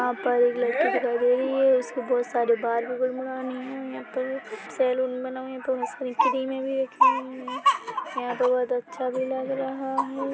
यहाँ पर एक लड़की दिखाई दे रही है उसके बहुत सारे बाल यहाँ पर सैलून बना हुआ है यहाँ पे फ्री में भी एक है यहाँ पे बहुत अच्छा भी लग रहा है।